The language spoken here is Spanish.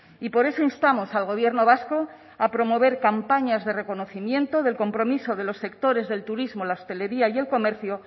y por eso instamos al gobierno vasco a promover campañas de reconocimiento del compromiso de los sectores del turismo la hostelería y el comercio